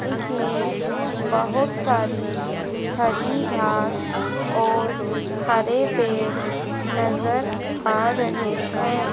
इसमें बहोत सारी हरी घास और हरे पेड़ नजर आ रहे हैं।